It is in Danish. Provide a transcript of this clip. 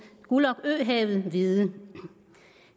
gulag øhavet vide